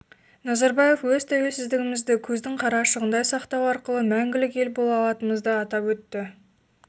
назарбаев өз тәуелсіздігімізді көздің қарашығындай сақтау арқылы мәңгілік ел бола алатынымызды атап өтті